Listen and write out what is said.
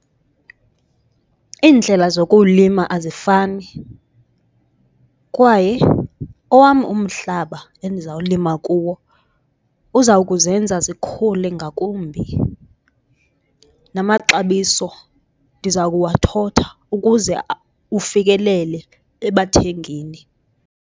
Iindlela zokuwulima azifani kwaye owam umhlaba endizawulima kuwo uza kuzenza zikhule ngakumbi, namaxabiso ndiza kuwathotha ukuze ufikelele ebathengini.